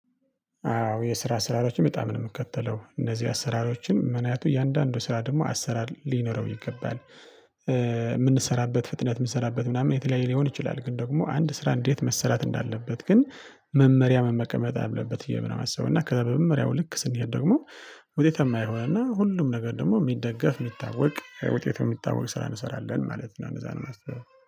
አዎ የስራ አሰራሮችን በጣም ነው የምከተለው እነዚህ አሰራሮችን ምክንያቱ እያንዳንዱ ስራ ደግሞ አሰራር ሊኖረው ይገባል። የምንሰራበት ፍጥነት የምንሰራበት ምናምን የተለያየ ሊሆን ይችላል። ግን ደግሞ አንድ ስራ እንዴት መሰራት እንዳለበት ግን መመሪያ መቀመጥ አለበት ብየ ነው የማስበው። እና ከዛ በመመሪያው ልክ ስንሄድ ደግሞ። ውጤታማ ይሆናልና ሁሉም ነገር ደግሞ የሚደገፍ የሚታወቅ ውጤት የሚታወቅ ስራ እንሰራለን ማለት ነው። እንደዛ ነው የማስበው